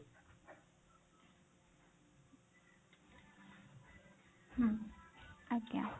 ହୁଁ ଆଜ୍ଞା।